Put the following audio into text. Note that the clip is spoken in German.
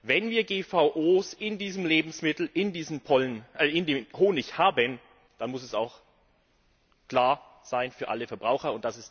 Wenn wir GVO in diesem Lebensmittel, in diesem Honig haben, dann muss es auch klar sein für alle Verbraucher